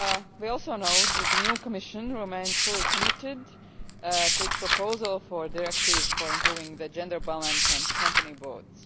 We also note that the new Commission remains fully committed to its proposal for a directive for improving the gender balance on company boards.